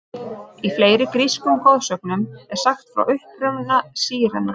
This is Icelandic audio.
Í fleiri grískum goðsögnum er sagt frá uppruna sírenanna.